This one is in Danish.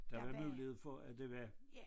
Der var mulighed for at det var